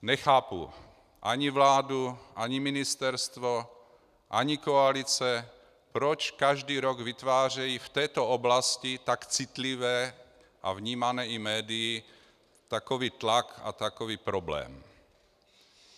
Nechápu ani vládu, ani ministerstvo, ani koalice, proč každý rok vytvářejí v této oblasti tak citlivé a vnímané i médii takový tlak a takový problém.